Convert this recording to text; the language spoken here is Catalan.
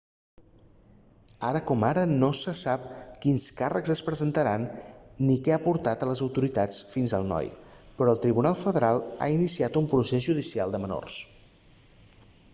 ara com ara no se sap quins càrrecs es presentaran ni què ha portat les autoritats fins al noi però el tribunal federal ha iniciat un procés judicial de menors